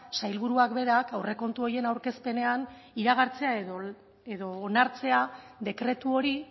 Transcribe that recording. sailburuak berak aurrekontu horien aurkezpenean iragartzea edo onartzea dekretu hori